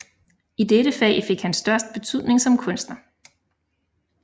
I dette fag fik han sin største betydning som kunstner